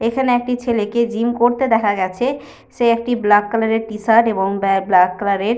এখানে একটি ছেলেকে জিম করতে দেখা গেছে। সে একটি ব্লাক কালার -এর টি-শার্ট এবং ব্যা ব্লাক কালার -এর --